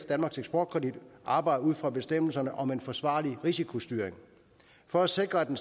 danmarks eksportkredit arbejde ud fra bestemmelserne om en forsvarlig risikostyring for at sikre at en